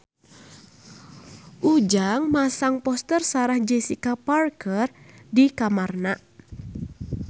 Ujang masang poster Sarah Jessica Parker di kamarna